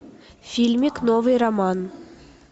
фильмик новый роман